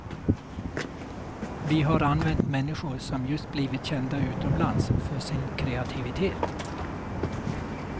Vi har använt människor som just blivit kända utomlands för sin kreativitet.